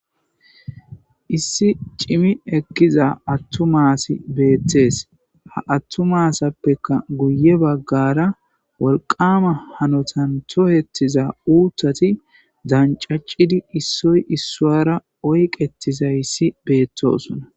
Issi ciimi ekkiza attumasi beettees ha attumasappeka guye baggara woliqama hanotan tohettiza uuttati dancacidi issoy issuara oyqettiza issi beettoosona